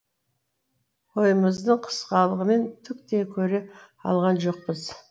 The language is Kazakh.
бойымыздың қысқалығымен түк те көре алған жоқпыз